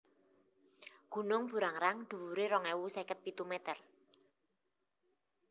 Gunung Burangrang dhuwuré rong ewu seket pitu mèter